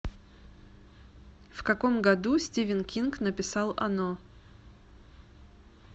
в каком году стивен кинг написал оно